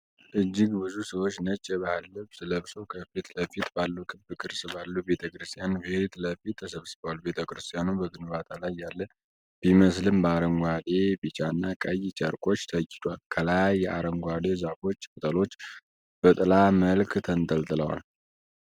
እጅግ ብዙ ሰዎች ነጭ የባህል ልብስ ለብሰው ከፊት ለፊት ባለው ክብ ቅርጽ ባለው ቤተክርስቲያን ፊት ለፊት ተሰብስበዋል። ቤተክርስቲያኑ በግንባታ ላይ ያለ ቢመስልም በአረንጓዴ፣ ቢጫና ቀይ ጨርቆች ተጊጧል። ከላይ የአረንጓዴ ዛፎች ቅጠሎች በጥላ መልክ ተንጠልጥለዋል።